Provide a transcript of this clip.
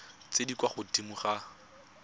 tse di kwa godimo ga